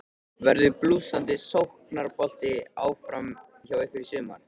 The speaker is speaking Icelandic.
Verður blússandi sóknarbolti áfram hjá ykkur í sumar?